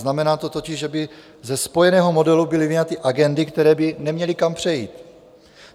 Znamená to totiž, že by ze spojeného modelu byly vyňaty agendy, které by neměly kam přejít.